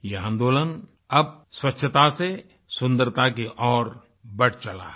ये आंदोलन अब स्वच्छता से सुन्दरता की ओर बढ़ चला है